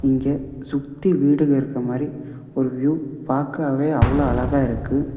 இங்க சுத்தி வீடுக இருக்க மாரி ஒரு வியூ பாக்கவே அவ்ளோ அழகா இருக்கு.